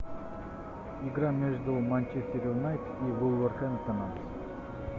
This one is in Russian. игра между манчестер юнайтед и вулверхэмптоном